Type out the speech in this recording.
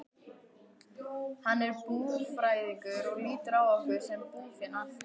Hann er búfræðingur og lítur á okkur sem búfénað.